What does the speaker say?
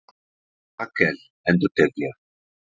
Rakel endurtek ég?